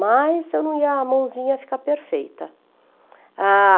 Mas eu não ia, a mãozinha ia ficar perfeita.